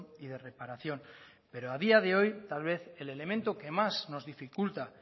y de reparación pero a día de hoy tal vez el elemento que más nos dificulta